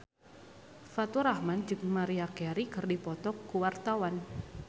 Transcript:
Faturrahman jeung Maria Carey keur dipoto ku wartawan